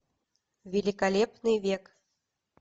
великолепный век